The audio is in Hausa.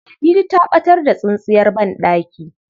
Ladidi ta ɓatar da tsintsiyar banɗaki.